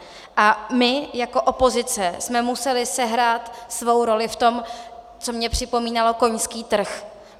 A my jako opozice jsme museli sehrát svou roli v tom, co mně připomínalo koňský trh.